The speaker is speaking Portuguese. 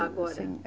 Agora?